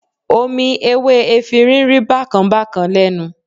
Omi ewé efinrin rí bákan bákan lẹ́nu.